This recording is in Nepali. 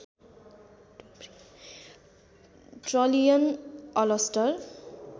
ट्रलियन अलस्टर